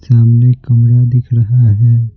सामने कमरा दिख रहा है।